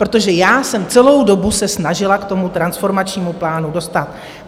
Protože já jsem celou dobu se snažila k tomu transformačnímu plánu dostat.